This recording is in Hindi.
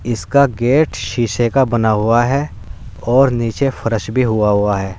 इसका गेट शीशे का बना हुआ है और नीचे फर्श भी हुआ हुआ है।